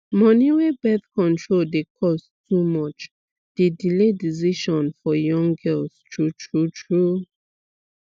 money wey birth control dey cost too much dey delay decision for young girls true true true